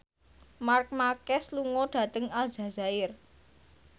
Marc Marquez lunga dhateng Aljazair